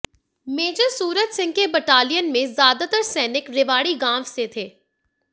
major Suraj Singh के battalion में ज्यादातर सैनिक रेवाड़ी गांव से थे